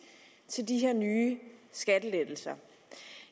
til de her nye skattelettelser